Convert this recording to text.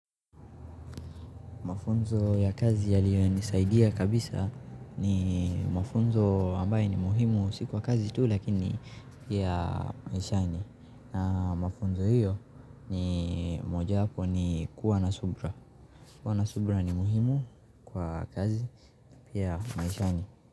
Mafunzo ya kazi yaliyonisaidia kabisa ni mafunzo ambaye ni muhimu si kwa kazi tu lakini pia maishani. Na mafunzo hiyo ni mojawapo ni kuwa na subira. Kuwa na subira ni muhimu kwa kazi pia maishani.